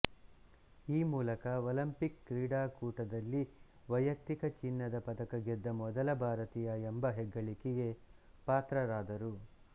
ಈ ಮೂಲಕ ಒಲಿಂಪಿಕ್ ಕ್ರೀಡಾಕೂಟದಲ್ಲಿ ವೈಯಕ್ತಿಕ ಚಿನ್ನದ ಪದಕ ಗೆದ್ದ ಮೊದಲ ಭಾರತೀಯ ಎಂಬ ಹೆಗ್ಗಳಿಕೆಗೆ ಪಾತ್ರರಾದರು